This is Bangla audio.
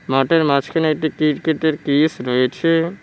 মাঠের মাঝখানে একটি কিরকেটের কিস রয়েছে।